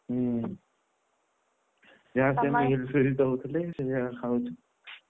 ହୁଁ ହୁଁ, ଯାହା ସେମିତି ହିର୍ ଫିର୍ ଦଉଥିଲେ ସେ ଯାହା ଖାଉଛୁ ।